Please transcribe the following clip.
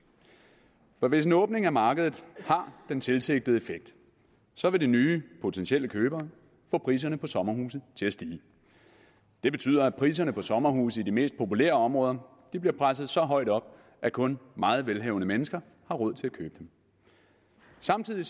for hvis en åbning af markedet har den tilsigtede effekt så vil de nye potentielle købere få priserne på sommerhuse til at stige det betyder at priserne på sommerhuse i de mest populære områder bliver presset så højt op at kun meget velhavende mennesker har råd til at købe dem samtidig